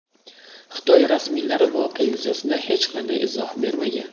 Xitoy rasmiylari voqea yuzasidan hech qanday izoh bermagan.